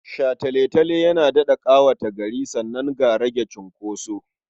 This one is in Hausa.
Shataletale yana daɗa ƙawata gari sannan ga rage cunkoso.